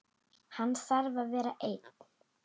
Hann þarf að vera einn.